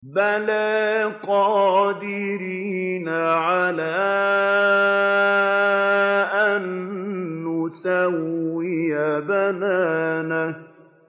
بَلَىٰ قَادِرِينَ عَلَىٰ أَن نُّسَوِّيَ بَنَانَهُ